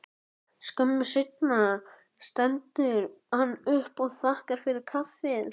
Skömmu seinna stendur hann upp og þakkar fyrir kaffið.